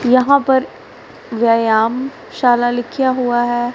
यहां पर व्यायाम शाला लिखा हुआ है।